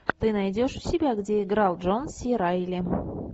ты найдешь у себя где играл джон си райли